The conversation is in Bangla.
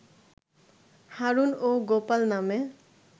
হারুন ও গোপাল নামে